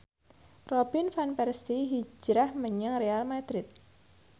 Robin Van Persie hijrah menyang Real madrid